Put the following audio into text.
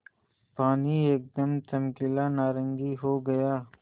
पानी एकदम चमकीला नारंगी हो गया